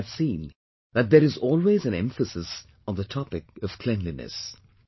But I have seen that there is always an emphasis on the topic of cleanliness